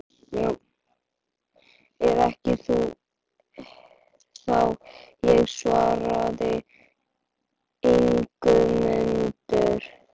Hún vann á Hótel Reykjavík, sagði Guðjón við kunningja sína.